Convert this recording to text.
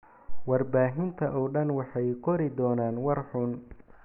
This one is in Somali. warbaahinta oo dhan waxay qori doonaan war xun.